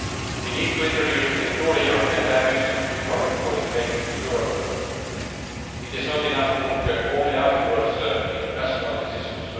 preach. We need to introduce a truly European dimension to economic policy making in Europe it is not enough to look only afterwards at international decisions.